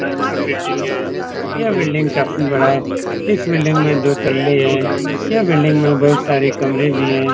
बड़ा-सा बिल्डिंग है यह बिल्डिंग काफी बड़ा है इस बिल्डिंग में दो तल्ले हैं यह बिल्डिंग में बहुत सारे कमरे भी हैं।